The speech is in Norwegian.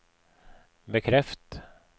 bekreft